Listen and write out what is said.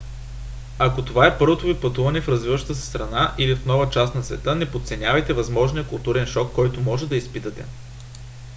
ако това е първото ви пътуване в развиваща се страна – или в нова част на света – не подценявайте възможния културен шок който може да изпитате